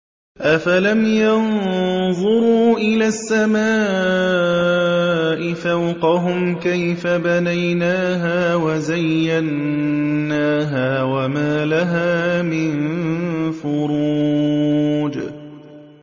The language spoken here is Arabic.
أَفَلَمْ يَنظُرُوا إِلَى السَّمَاءِ فَوْقَهُمْ كَيْفَ بَنَيْنَاهَا وَزَيَّنَّاهَا وَمَا لَهَا مِن فُرُوجٍ